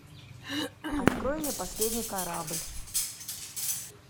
открой мне последний корабль